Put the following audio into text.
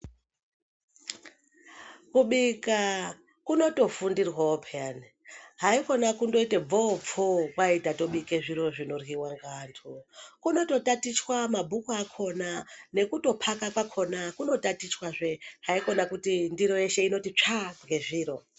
Kubika kunotofundirwawo peyani ,haikona kungoite bvowopfowo kwai tatobike zviro zvinoryiwa ngeandu . Kunoto tatichwa mabhuku akona nekutophaka kwakona kunotatichwa haikona kuti ndiro yeshe unoti tsvaga ngezviro.